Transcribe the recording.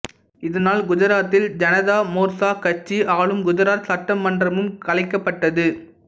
இதனால் குஜராத்தில் ஜனதா மோர்ச்சா கட்சி ஆளும் குஜராத் சட்டமன்றமும் கலைக்கப்பட்டது